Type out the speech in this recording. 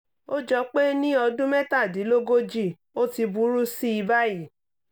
ó jọ pé ní ọdún mẹ́tàdínlógójì ó ti burú sí i báyìí